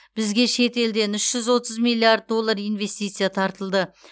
бізге шет елден үш жүз отыз миллиард доллар инвестиция тартылды